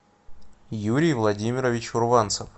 юрий владимирович урванцев